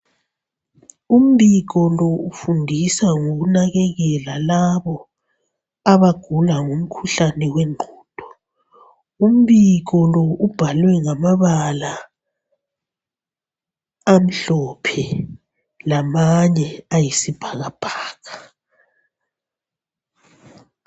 Umbiko lo ufundisa ngokunakekela labo abagula ngomkhuhlane wengqondo. Umbiko lo ubhalwe ngamabala amhlophe lamanye ayisibhakabhaka.